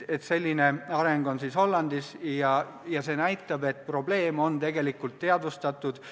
Selline areng on toimunud Hollandis ja see näitab, et probleemi on tegelikult teadvustatud.